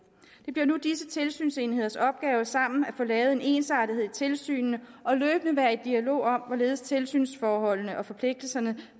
det bliver nu disse tilsynsenheders opgave sammen at få lavet en ensartethed i tilsynene og løbende være i dialog om hvorledes tilsynsforholdene og forpligtelserne